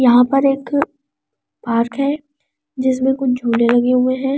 यहां पर एक पार्क है जिसमें कुछ झूले लगे हुए हैं।